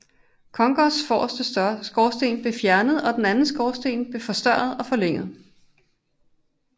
Kongōs forreste skorsten blev fjernet og den anden skorsten blev forstørret og forlænget